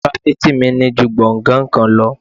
Ifáfìti mi ní ju gbongan kan lọ.